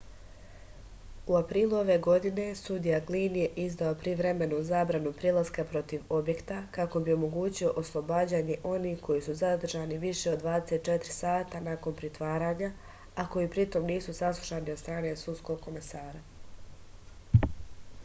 u aprilu ove godine sudija glin je izdao privremenu zabranu prilaska protiv objekta kako bi omogućio oslobađanje onih koji su zadržani više od 24 sata nakon pritvaranja a koji pritom nisu saslušani od strane sudskog komesara